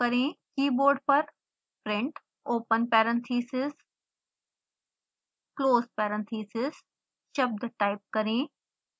keyboard पर print open parenthesis close parenthesis शब्द type करें